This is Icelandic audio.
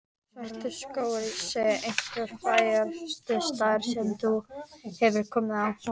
Svartiskógur sé einhver fegursti staður sem þú hefur komið á.